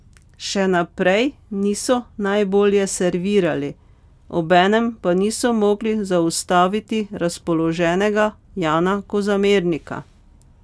Še naprej niso najbolje servirali, obenem pa niso mogli zaustaviti razpoloženega Jana Kozamernika.